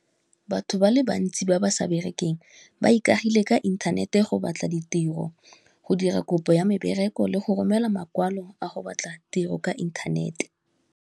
Batho ba le bantsi ba ba sa berekeng ba ikagile ka inthanete go batla ditiro, go dira kopo ya mebereko, le go romela makwalo a go batla tiro ka inthanete.